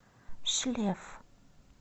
шлеф